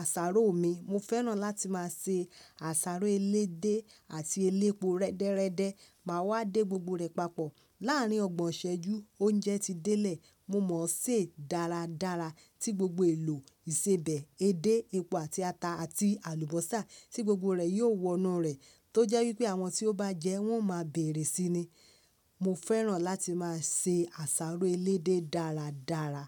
àsáró mi. Mo fẹ́ràn láti máa se àsáró elédé àti elépo rẹ́dẹ́rẹ́dẹ́. Mà á wá dé gbogbo rẹ̀ papọ̀. Láàárín ọgbọ̀n ìṣẹ́jú oúnjẹ ti délẹ̀. Mo mọ̀ ọ́ sè dáradára tí gbogbo èlò ìsebẹ̀, edé, epo àti ata àti àlùbọ́sà tí gbogbo rẹ̀ yóò wọnú rẹ̀. Tójẹ́ wípé àwọn tí ó bá jẹ ẹ́ wọn ò máa bèrè síi ni. Mo fẹ́ràn láti máa se àsáró elédé dáradára.